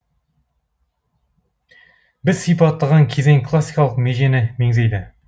біз сипаттаған кезең классикалық межені меңзейді